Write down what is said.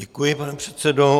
Děkuji, pane předsedo.